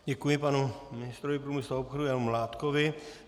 Děkuji panu ministrovi průmyslu a obchodu Janu Mládkovi.